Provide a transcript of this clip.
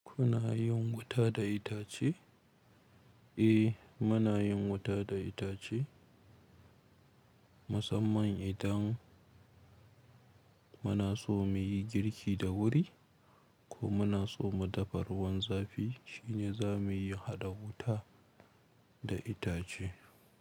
Kuna yin wuta da itace? Eh, muna yin wuta da itace. Musamman idan muna so muyi girki da wuri ko muna so mu dafa ruwan zafi shine za muyi haɗa wuta da itace.